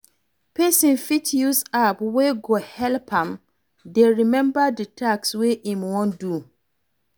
Person fit use app wey go help am dey remember di task wey im wan do